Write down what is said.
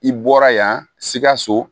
I bɔra yan sikaso